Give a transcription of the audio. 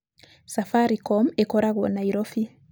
Safaricom ĩkoragwo Nairobi.